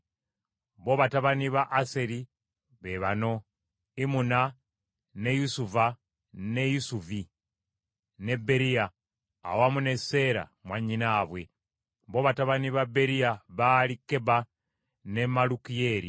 Bo batabani ba Aseri be bano: Imuna, ne Isuva, ne Isuvi, ne Beriya awamu ne Seera mwannyinaabwe. Bo Batabani ba Beriya baali Keba ne Malukiyeeri.